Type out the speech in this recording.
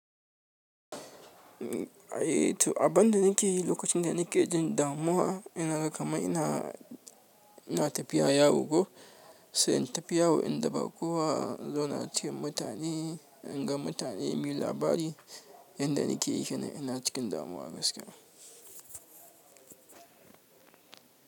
Abin da nake yi lokacin da nake cikin damuwa, yana kama ina, ina tafiya yawo ko sai tafiyawo in daɓa kowa in zauna cikin mutane, in ga mutane muyi labari, yanda nake yi kenan in ina cikin damuwa gaskiya.